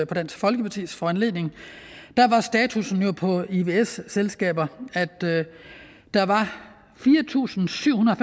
på dansk folkepartis foranledning var status for ivs selskaber at der var fire tusind syv hundrede